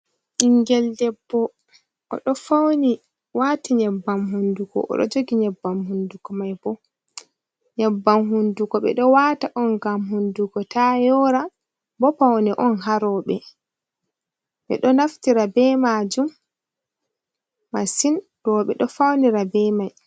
Ɓinngel debbo o ɗo fawwni waati nyebbam hunnduko o ɗo jogi nyebbam hunnduko, ɓe ɗo waata on ngam hunnduko ta yoora, bo pawne on haa rewɓe, ɓe ɗo naftira bee maajum masin, rewɓe ɗo fawnira bee mai.